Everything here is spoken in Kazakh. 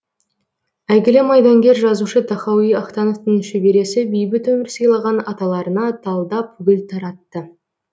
әйгілі майдангер жазушы тахауи ахтановтың шөбересі бейбіт өмір сыйлаған аталарына талдап гүл таратты